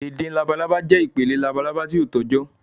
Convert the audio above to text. ẹdin làbàlábá jẹ́ ipele làbàlábá ti o tọjọ